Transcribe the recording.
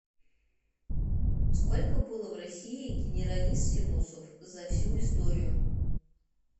сколько было в россии генералиссимусов за всю историю